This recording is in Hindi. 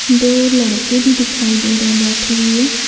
दो लड़के भी दिखाई दे रहे है बैठे हुए।